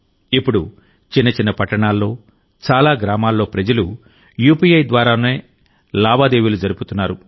ఇప్పుడు చిన్న చిన్న పట్టణాల్లో చాలా గ్రామాల్లో ప్రజలు యూపీఐ ద్వారానే లావాదేవీలు జరుపుతున్నారు